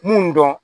Mun dɔn